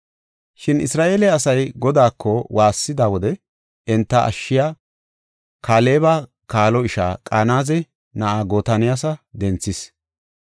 Shin Isra7eele asay Godaako waassida wode enta ashshiya, Kaaleba kaalo ishaa Qanaze na7aa Gotoniyala denthis.